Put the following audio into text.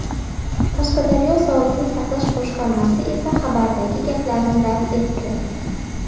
Qashqadaryo sog‘liqni saqlash boshqarmasi esa xabardagi gaplarni rad etdi .